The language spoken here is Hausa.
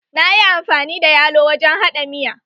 Na yi amfani da yalo wajen haɗa miya.